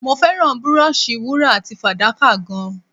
Mo fẹ́ràn búróóṣì wúrà àti fàdákà gan-an.